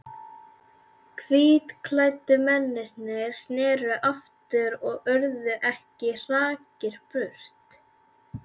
Hvítklæddu mennirnir sneru aftur og urðu ekki hraktir burt.